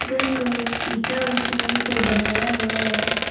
घर को ईटा और सीमेंट से बनाया हुआ है।